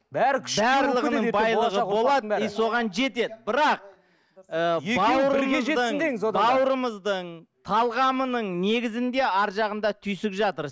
бәрі барлығының байлығы болады и соған жетеді бірақ ы бауырымыздың бауырымыздың талғамының негізінде ар жағында түйсік жатыр